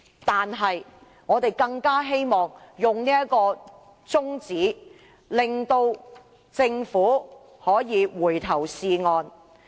因此，我們希望提出中止待續的議案，令政府可以回頭是岸。